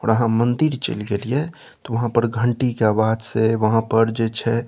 और आहां मंदिर चल गेलिये ते वहां पर घंटी के आवाज से वहां पर जे छै --